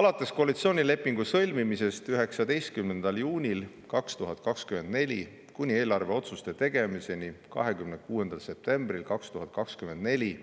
Alates koalitsioonilepingu sõlmimisest 19. juunil 2024 kuni eelarveotsuste tegemiseni 26. septembril 2024